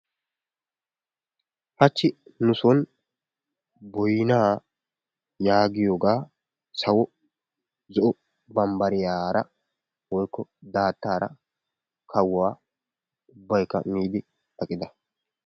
Hachchi nu sooni boynna yaagiyoogga sawwo zo"o bambariyara woykko daattara kawuwaa ubaykka miidi aqqidda.